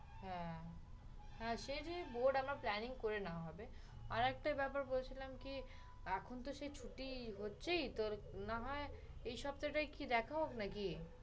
হ্যাঁ, হ্যাঁ সে যে board আমরা planning করে নেওয়া হবে। আরেকটা ব্যাপার বলছিলাম কি এখন তো সেই ছুটি হচ্ছেই তোর না হয় এই সপ্তাটায় কি দেখা হোক নাকি?